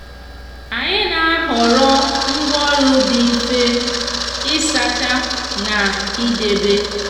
anyi n'ahoro ngworo ndi di nfe isacha na idebe.